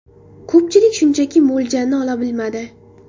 Ko‘pchilik shunchaki mo‘ljalni ola bilmadi.